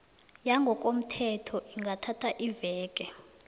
yangokomthetho ingathatha iimveke